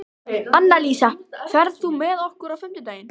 Annalísa, ferð þú með okkur á fimmtudaginn?